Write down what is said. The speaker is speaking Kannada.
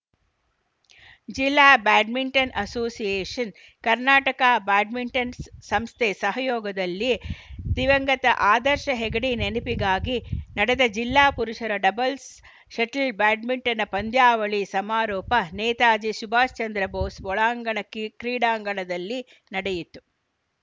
ಜಿಲ್ಲಾ ಬ್ಯಾಡ್ಮಿಂಟನ್‌ ಅಸೋಸಿಯೇಷನ್‌ ಕರ್ನಾಟಕ ಬ್ಯಾಡ್ಮಿಂಟನ್‌ ಸಂಸ್ಥೆ ಸಹಯೋಗದಲ್ಲಿ ದಿವಂಗತ ಆದರ್ಶ ಹೆಗಡೆ ನೆನಪಿಗಾಗಿ ನಡೆದ ಜಿಲ್ಲಾ ಪುರುಷರ ಡಬಲ್ಸ್‌ ಷಟಲ್‌ ಬ್ಯಾಡ್ಮಿಂಟನ್‌ ಪಂದ್ಯಾವಳಿ ಸಮಾರೋಪ ನೇತಾಜಿ ಸುಭಾಷ್‌ಚಂದ್ರ ಭೋಸ್‌ ಒಳಾಂಗಣ ಕ್ರೀ ಕ್ರೀಡಾಂಗಣದಲ್ಲಿ ನಡೆಯಿತು